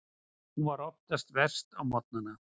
Hún er oftast verst á morgnana.